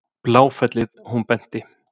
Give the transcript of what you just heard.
Bláfellið, hún benti.